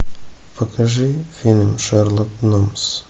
покажи фильм шерлок холмс